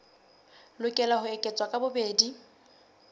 lokela ho eketswa ka bobedi